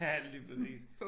Lige præcis